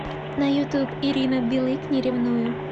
на ютуб ирина билык не ревную